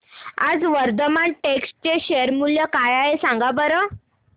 आज वर्धमान टेक्स्ट चे शेअर मूल्य काय आहे सांगा बरं